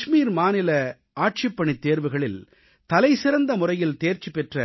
காஷ்மீர் மாநில ஆட்சிப்பணித் தேர்வுகளில் தலைசிறந்த முறையில் தேர்ச்சி பெற்ற